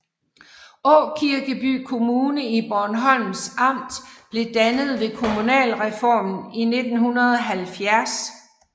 Aakirkeby Kommune i Bornholms Amt blev dannet ved kommunalreformen i 1970